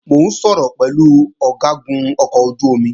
Mò ń sọ̀rọ̀ pẹ̀lú Ọ̀gágun ọkọ̀ ojú-omi náà